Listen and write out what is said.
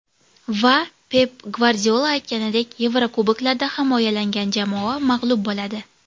Va, Pep Gvardiola aytganidek, Yevrokuboklarda himoyalangan jamoa mag‘lub bo‘ladi.